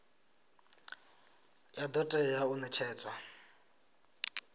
ya do tea u netshedzwa